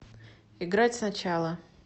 играть сначала